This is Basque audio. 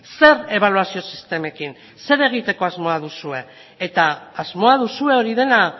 zer ebaluazio sistemekin zer egiteko asmoa duzue eta asmoa duzue hori dena